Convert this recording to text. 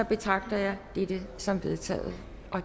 betragter jeg dette som vedtaget